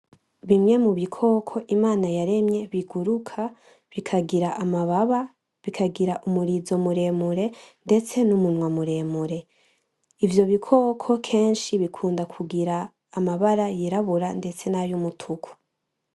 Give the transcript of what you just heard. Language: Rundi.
Bimwe mubikoko Imana yaremye biguruka bikagira amababa, bikagira umurizo muremure ndetse n'umunwa muremure. Ivyo bikoko kenshi bikunda kugira amabara yirabura ndetse nay' umutuku.